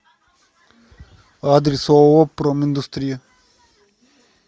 адрес ооо проминдустрия